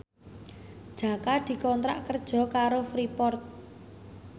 Jaka dikontrak kerja karo Freeport